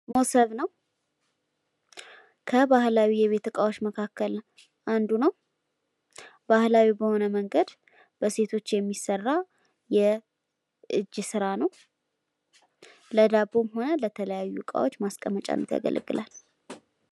ሞሰብ ነው ፤ ከባህላዊ የቤት እቃወች መካከል አንዱ ነው ፤ ባሕላዊ በሆነ መንገድ በሴቶች የሚሰራ የጅ ስራ ነው ፤ ለዳቦም ሆነ ለተለያየ እቃዎች ማስቀመጫነት ያገለግላል።